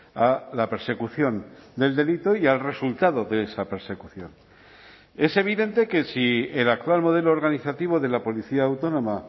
a la persecución del delito y al resultado de esa persecución es evidente que si el actual modelo organizativo de la policía autónoma